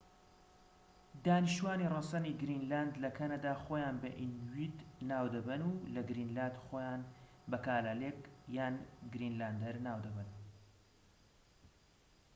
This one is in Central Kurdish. دانیشتوانی ڕەسەنی گرینلاند لە کەنەدا خۆیان بە ئینویت ناو دەبەن و لە گرینلاند خۆیان بە کالالێک یان گرینلاندەر ناو دەبەن